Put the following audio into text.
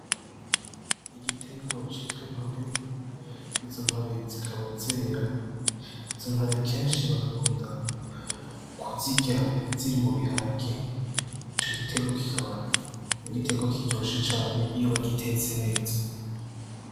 Igiterwa citwa intore, izo ntore zikaba zera, izo ntore kenshi bagakunda kuzirya ziri mubiharage, ico giterwa kikaba ari igiterwa kiryoshe cane iyo bagitetse neza.